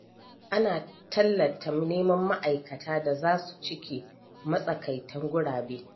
Ana tallata neman ma'aikata da za su cike matsakaitan gurabe.